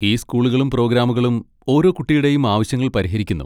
ഈ സ്കൂളുകളും പ്രോഗ്രാമുകളും ഓരോ കുട്ടിയുടെയും ആവശ്യങ്ങൾ പരിഹരിക്കുന്നു.